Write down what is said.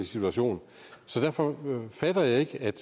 situation så derfor fatter jeg ikke at